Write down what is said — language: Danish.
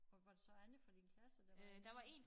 Og var der så andre fra din klasse der var med